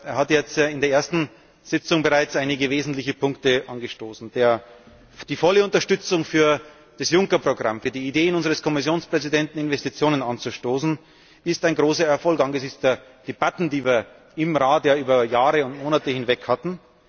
Er hat jetzt in der ersten Sitzung bereits einige wesentliche Punkte angestoßen. Die volle Unterstützung für das Juncker Programm, für die Ideen unseres Kommissionspräsidenten, Investitionen anzustoßen, ist ein großer Erfolg angesichts der Debatten, die wir im Rat ja über Monate und Jahre hinweg hatten.